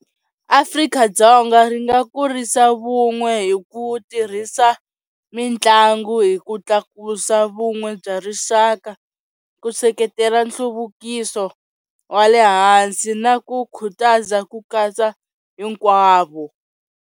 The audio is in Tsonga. Afrika-Dzonga ri nga kurisa vun'we hi ku tirhisa mitlangu hi ku tlakusa vun'we bya rixaka ku seketela nhluvukiso wa le hansi na ku khutaza ku katsa hinkwavo.